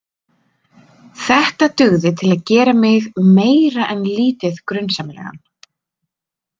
Þetta dugði til að gera mig meira en lítið grunsamlegan.